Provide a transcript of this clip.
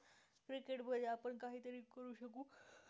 cricket मध्ये आपण काहीतरी करु शकू